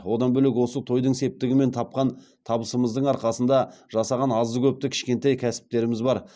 одан бөлек осы тойдың септігімен тапқан табысымыздың арқасында жасаған азды көпті кішкентай кәсіптеріміз бар